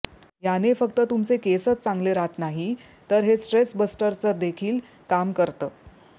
याने फक्त तुमचे केसच चांगले राहत नाही तर हे स्ट्रेस बस्टरचं देखील काम करतं